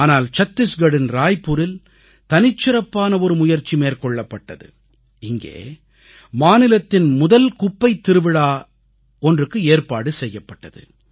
ஆனால் சத்தீஸ்கரின் ராய்ப்பூரில் தனிச்சிறப்பான ஒரு முயற்சி மேற்கொள்ளப்பட்டது இங்கே மாநிலத்தின் முதல் குப்பைத் திருவிழா ஒன்றுக்கு ஏற்பாடு செய்யப்பட்டது